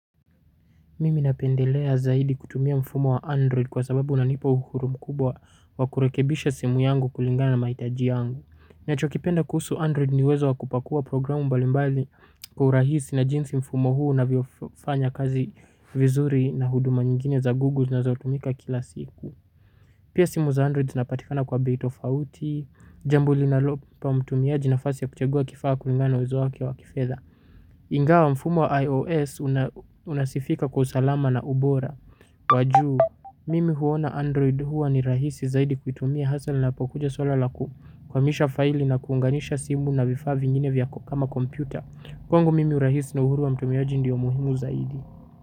Mimi napendelea zaidi kutumia mfumo wa android kwa sababu unanipa uhuru mkubwa wa kurekebisha simu yangu kulingana na mahitaji yangu. Nachokipenda kuhusu android ni uwezo wa kupakua programu mbalimbali kwa urahisi na jinsi mfumo huo unavyofanya kazi. Vizuri na huduma nyingine za google zinazotumika kila siku. Pia simu za android zinapatikana kwa bei tofauti. Jambo linalompa mtumiaji nafasi ya kuchagua kifaa kulingana uwezo wake wa kifedha ingawa mfumo wa IOS unasifika kwa usalama na ubora wajuu, mimi huona Android huwa ni rahisi zaidi kuitumia hasa lapokuja swala laku hamisha faili na kuunganisha simu na vifaa vingine vyako kama kompyuta. Kwangu mimi urahisi na uhuru wa mtumiaji ndio muhimu zaidi.